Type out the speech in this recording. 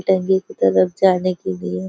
टंकी की तरफ जाने के लिए --